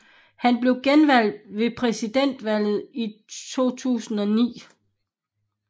Han blev genvalgt ved præsidentvalget i 2009